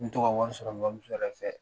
N mi to ka wari sɔrɔ n bamuso yɛrɛ fɛ.